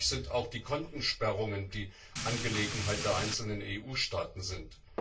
Fraglich sind auch die Kontensperrungen, die Angelegenheit der einzelnen EU Staaten sind.